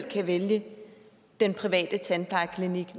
kan vælge den private tandplejeklinik